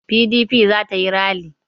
PDP za ta yi ralli.